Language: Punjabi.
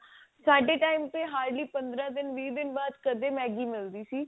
ਸਾਡੇ time ਤੇ hardly ਪੰਦਰਾ ਦਿਨ ਵੀਹ ਦਿਨ ਬਾਅਦ ਕਦੀ Maggie ਮਿਲਦੀ ਸੀ